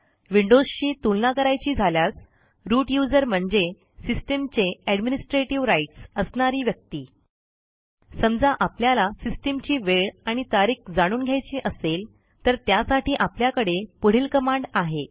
विंडोजशी तुलना करायची झाल्यास रूट यूझर म्हणजे सिस्टम चे एडमिनिस्ट्रेटिव्ह rightsअसणारी व्यक्ती समजा आपल्याला सिस्टीमची वेळ आणि तारीख जाणून घ्यायची असेल तर त्यासाठी आपल्याकडे पुढील कमांड आहे